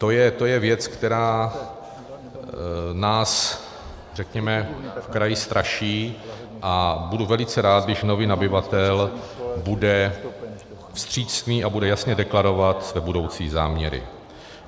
To je věc, která nás v kraji straší, a budu velice rád, když nový nabyvatel bude vstřícný a bude jasně deklarovat své budoucí záměry.